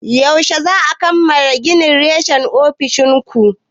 Yaushe za'a kammala gina reshen ofishin ku?